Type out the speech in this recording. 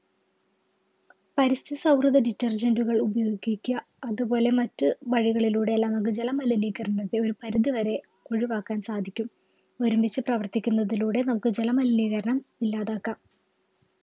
പരിസ്ഥിതി സൗഹൃദ Detergent കൾ ഉപയോഗിക്കുക അതുപോലെ മറ്റു വഴികളിലൂടെയെല്ലാം നമുക്ക് ജല മലിനീകരണത്തെ ഒരുപരിധി വരെ ഒഴിവാക്കാൻ സാധിക്കും ഒരുമിച്ച് പ്രവർത്തിക്കുന്നതിലൂടെ നമുക്ക് ജല മലിനീകരണം ഇല്ലാതാക്കാം